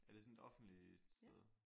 Er det sådan et offentligt sted?